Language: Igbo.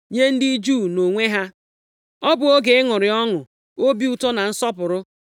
Nye ndị Juu nʼonwe ha, ọ bụ oge ịṅụrị ọnụ, obi ụtọ na nsọpụrụ.